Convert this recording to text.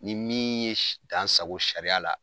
Ni min ye s dan sago sariya la